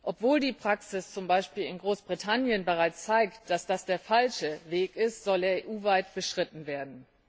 Obwohl die Praxis, zum Beispiel in Großbritannien, bereits zeigt, dass das der falsche Weg ist, soll er EU weit beschritten werden.